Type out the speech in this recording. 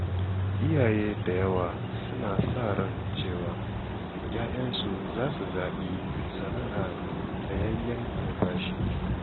Iyaye da yawa suna sa ran cewa ‘ya‘yansu zasu zaɓi sana’a mai tsayayyen albashi.